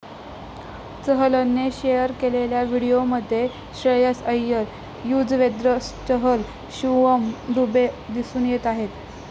चहलने share केलेल्या व्हिडिओमध्ये श्रेयस अय्यर, युझवेंद्र चहल, शिवम दुबे दिसून येत आहेत.